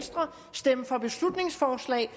stemme for beslutningsforslag